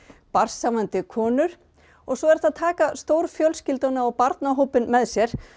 barnshafandi konur og svo er hægt að taka stórfjölskylduna og barnahópinn með sér